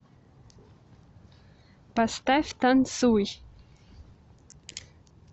поставь танцуй